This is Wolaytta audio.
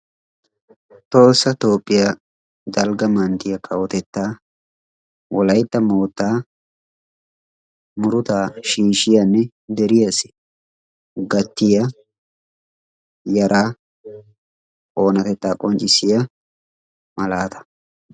Tohossa Toophphiyaa dalgga manttiya kawotettaa wolaytta moottaa murutaa shiishshiyanne deriyaassi gattiyaa yaraa oonatettaa qonccissiyaa malaataa.